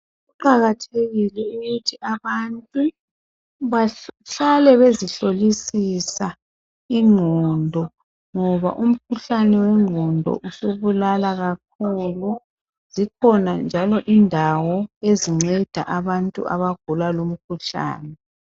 Kuqakathekile ukuthi abantu bahlale bezihlolisisa ingqondo. Ngoba umkhuhlane wengqondo usubulala kakhulu. Zikhona njalo indawo ezinceda abantu abagula lumkhuhlane.